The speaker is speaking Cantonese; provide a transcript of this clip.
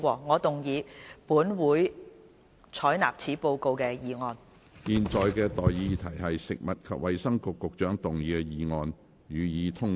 我現在向各位提出的待議議題是：食物及衞生局局長動議的議案，予以通過。